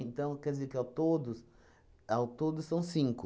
Então, quer dizer que, ao todos, ao todo, são cinco.